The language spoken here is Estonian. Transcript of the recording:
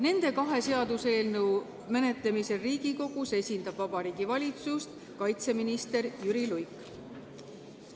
Nende kahe seaduseelnõu menetlemisel Riigikogus esindab Vabariigi Valitsust kaitseminister Jüri Luik.